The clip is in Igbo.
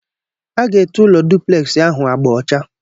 A ga-ete ụlọ dupleksi ahụ agba ọcha.